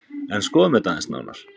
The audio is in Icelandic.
En skoðum þetta aðeins nánar.